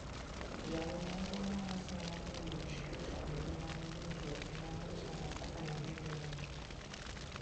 Jal moro ma ne oseng'adne buch twech kuom ngimane duto ema ne ochano kaka ne gidhi ringo.